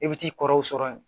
I bɛ t'i kɔrɔw sɔrɔ yen